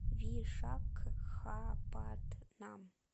вишакхапатнам